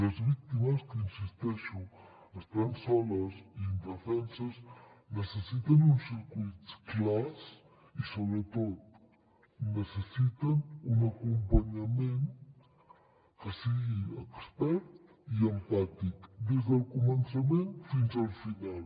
les víctimes que hi insisteixo estan soles i indefenses necessiten uns circuits clars i sobretot necessiten un acompanyament que sigui expert i empàtic des del començament fins al final